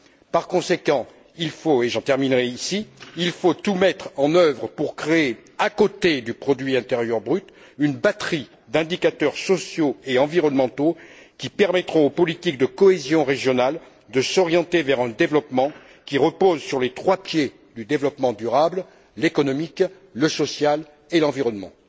Par conséquent, il faut, et je terminerai par ceci, tout mettre en œuvre pour créer, à côté du produit intérieur brut, une batterie d'indicateurs sociaux et environnementaux qui permettront aux politiques de cohésion régionale de s'orienter vers un développement qui repose sur les trois pieds du développement durable, l'économique, le social et l'environnement.